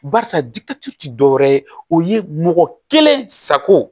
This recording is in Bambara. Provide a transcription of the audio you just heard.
Barisa ti dɔwɛrɛ ye o ye mɔgɔ kelen sago